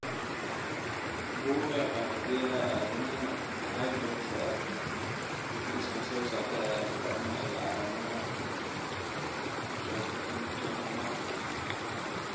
Bugga Aaragtiyaha Aadanaha waxay bixisaa liiska soo socda ee astamaha iyo calaamadaha Chordomarka.